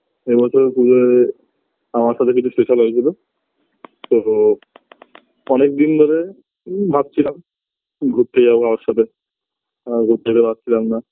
এবছর পূজোয় হয়ে আমার সাথে কিছু special হয়েছিল তো অনেক দিন ধরে ম ভাবছিলাম ঘুরতে যাব বাবার সাথে আর ঘুরতে যেতে পারছিলাম না